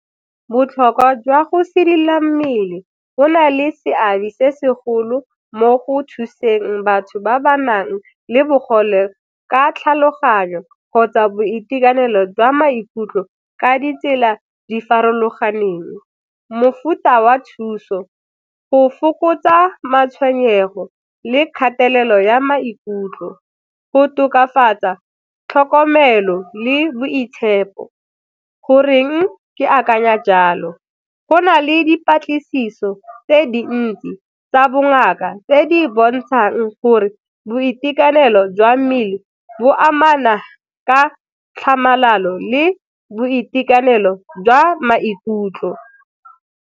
Botlhokwa jwa go sedila mmele go na le seabe se segolo mo go thuseng batho ba ba nang le bogole ka tlhaloganyo kgotsa boitekanelo jwa maikutlo ka ditsela di farologaneng. Mofuta wa thuso, go fokotsa matshwenyego le kgatelelo ya maikutlo, go tokafatsa tlhokomelo le boitshepo. Goreng ke akanya jalo? Go na le dipatlisiso tse dintsi tsa bongaka tse di bontshang gore boitekanelo jwa mmele bo amana ka tlhamalalo le boitekanelo jwa maikutlo.